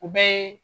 U bɛɛ ye